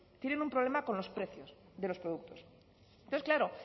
tienen un problema con los precios de los productos entonces claro